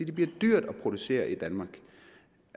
det bliver dyrere at producere i danmark